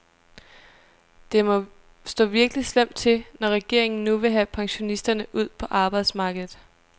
Det må stå virkelig slemt til, når regeringen nu vil have pensionisterne ud på arbejdsmarkedet.